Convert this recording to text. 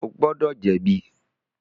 O gbọdọ jẹbi!